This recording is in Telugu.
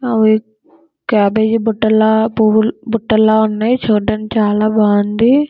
అవి క్యాబేజీ బుట్టల్లా పువ్వుల్ బుట్టల్లా వున్నాయి. చూడ్డానికి చాలా బాగుంది.